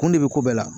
Kun de bɛ ko bɛɛ la